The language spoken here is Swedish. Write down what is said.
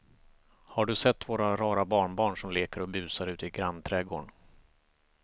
Har du sett våra rara barnbarn som leker och busar ute i grannträdgården!